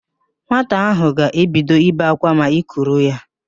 Nwata ahụ ga-ebido ibe ákwá ma i kuru ya